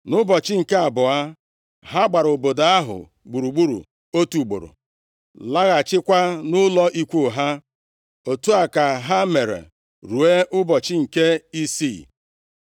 Nʼụbọchị nke abụọ, ha gbara obodo ahụ gburugburu otu ugboro, laghachikwa nʼụlọ ikwu ha. Otu a ka ha mere ruo nʼụbọchị nke isii.